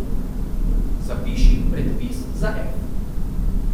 Zapiši predpis za f.